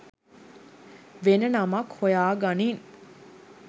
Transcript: වෙන නමක් හොයාගනින්